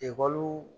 Ekɔli